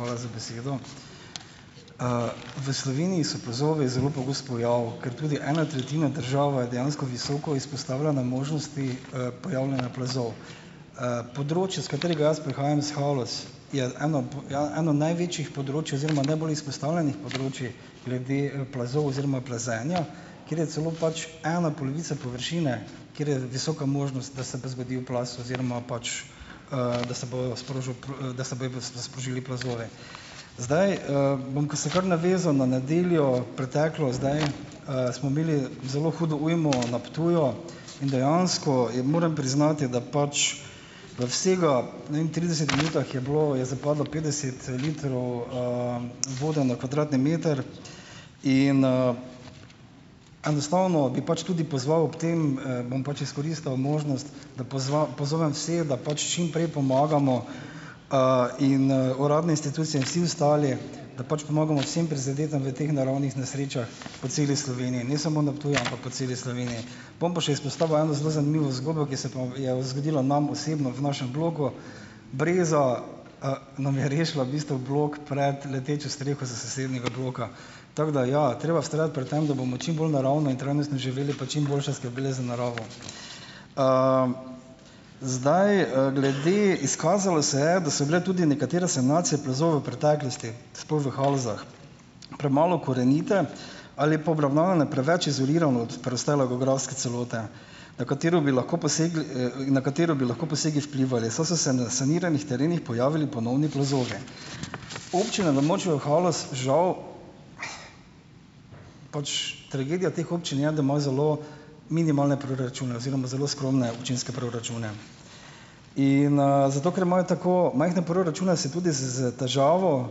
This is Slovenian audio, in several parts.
Hvala za besedo. v Sloveniji so plazovi zelo pogost pojav, ker tudi ena tretjina države je dejansko visoko izpostavljena možnosti, pojavljanja plazov. področje, s katerega jaz prihajam , iz Haloz, je ena ja, eno največjih področij oziroma najbolj izpostavljenih področij glede, plazov oziroma plazenja, kjer je celo pač ena polovica površine, kjer je visoka možnost, da se bo zgodil plaz oziroma pač, da se bo sprožil da se bojo sprožili plazovi. Zdaj, bom se kar navezal na nedeljo preteklo, zdaj, smo imeli zelo hudo ujmo na Ptuju in dejansko je, moram priznati, da pač da vsega, ne vem, trideset minutah je bilo, je zapadlo petdeset, litrov, vode na kvadratni meter in, enostavno bi pač tudi pozval ob tem, bom pač izkoristil možnost, da pozovem vse, da pač čimprej pomagamo, in, uradne institucije in vsi ostali, da pač pomagamo vsem prizadetim v teh naravnih nesrečah po celi Sloveniji. Ne samo na Ptuju, ampak po celi Sloveniji. Bom pa še izpostavil eno zelo zanimivo zgodbo, ki se pa je zgodilo nam osebno v našem bloku: breza, nam je rešila v bistvu blok pred letečo streho s sosednjega bloka . Tako da ja, treba vztrajati pri tem, da bomo čim bolj naravno in trajnostno živeli pa čimboljše skrbeli za naravo . zdaj, glede , izkazalo se je, da so bile tudi nekatere sanacije plazov v preteklosti, sploh v Halozah, premalo korenite ali pa obravnavane preveč izolirano od preostale geografske celote, na katero bi lahko posegli, na katero bi lahko posegi vplivali, so se na saniranih terenih pojavili ponovni plazovi. Občina na območju Haloz, žal pač, tragedija teh občin je, da ima zelo minimalne proračune oziroma zelo skromne občinske proračune. In, zato ker imajo tako majhne proračune, se tudi s s težavo,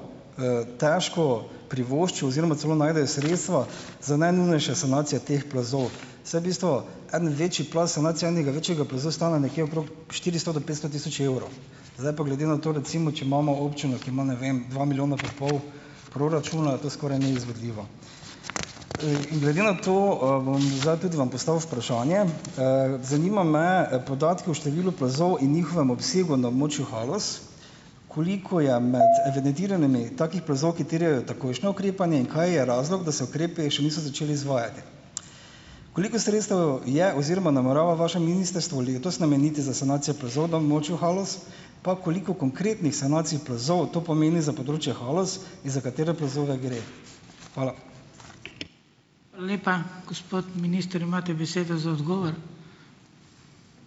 težko privoščijo oziroma celo najdejo sredstva za najnujnejše sanacije teh plazov, saj bistvo en večji plaz, sanacija enega večjega plazu stane nekje okrog štiristo do petsto tisoč evrov. Zdaj pa, glede na to recimo, če imamo občino, ki ima, ne vem, dva milijona pa pol proračuna, to skoraj neizvedljivo . in glede na to, bom zdaj tudi vam postavil vprašanje. zanimajo me podatki o številu plazov in njihovem obsegu na območju Haloz. Koliko je med evidentiranimi takih plazov, katere takojšnje ukrepanje in kaj je razlog, da se ukrepi še niso začeli izvajati? Koliko sredstev je oziroma namerava vaše ministrstvo letos nameniti za sanacijo plazov na območju Haloz? Pa, koliko konkretnih sanacij plazov to pomeni za področje Haloz in za katere plazove gre? Hvala. Hvala lepa. Gospod minister, imate besedo za odgovor.